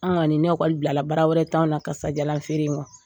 Anw kɔni ni ekɔli bilala bara wɛrɛ t'an na kasadiyalanfeere in kɔ